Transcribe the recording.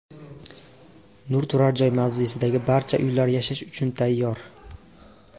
Nur turar joy mavzesidagi barcha uylar yashash uchun tayyor.